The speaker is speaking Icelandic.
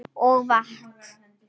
Og vatn.